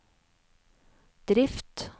drift